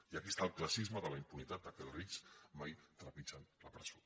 i aquí està el classisme de la impunitat perquè els rics mai trepitgen la presó